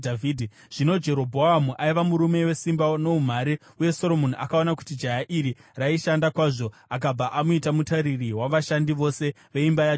Zvino Jerobhoamu aiva murume wesimba noumhare, uye Soromoni akaona kuti jaya iri raishanda kwazvo akabva amuita mutariri wavashandi vose veimba yaJosefa.